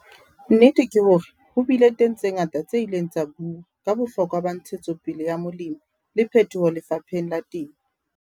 Nnete ke hore ho bile teng tse ngata tse ileng tsa buuwa ka bohlokwa ba ntshetsopele ya molemi le phetoho lefapeheng la temo.